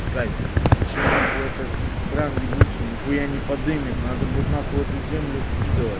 искать блять ещё нахуй кран ебучей нихуя не подымет надо будет нахуй эту землю скидывать